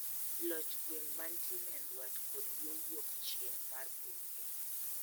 Loch gweng' mantie nyandwat kod yo wuokchieng' mar piny Kenya.